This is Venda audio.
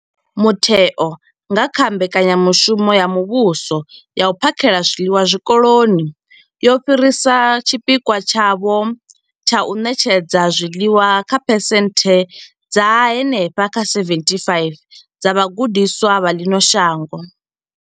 Mutheo, nga kha mbekanyamushumo ya muvhuso ya u phakhela zwiḽiwa zwikoloni, wo fhirisa tshipikwa tshavho tsha u ṋetshedza zwiḽiwa kha phesenthe dza henefha kha 75 dza vhagudiswa vha ḽino shango.